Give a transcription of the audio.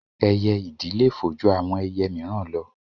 Ẹyẹ ìdì le fò ju àwọn ẹyẹ míìràn lọ